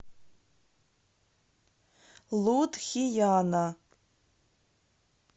лудхияна